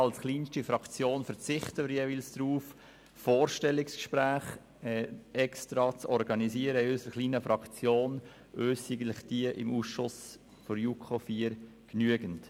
Als kleinste Fraktion verzichten wir jeweils darauf, Vorstellungsgespräche in unserer Fraktion zu organisieren, uns genügen die im Ausschuss IV der JuKo stattfindenden.